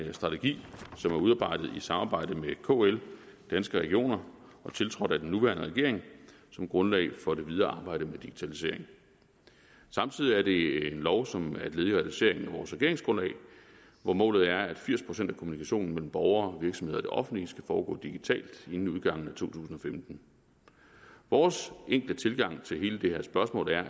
en strategi som er udarbejdet i samarbejde med kl danske regioner og tiltrådt af den nuværende regering som grundlag for det videre arbejde med digitalisering samtidig er det en lov som er et led i realiseringen af vores regeringsgrundlag hvor målet er at firs procent af kommunikationen mellem borgere og virksomheder og det offentlige skal foregå digitalt inden udgangen af to tusind og femten vores enkle tilgang til hele det her spørgsmål er